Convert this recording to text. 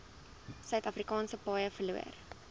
suidafrikaanse paaie verloor